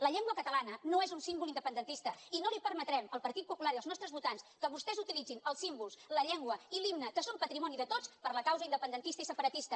la llengua catalana no és un símbol independentista i no li permetrem el partit popular i els nostres votants que vostès utilitzin els símbols la llengua i l’himne que són patrimoni de tots per a la causa independentista i separatista